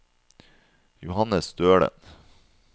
Johannes Stølen